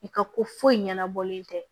I ka ko foyi ɲɛnabɔlen tɛ